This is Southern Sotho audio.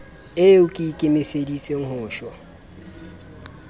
eo ke ikemiseditseng ho shwa